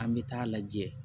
An bɛ taa lajɛ